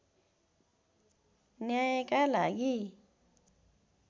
न्यायका लागि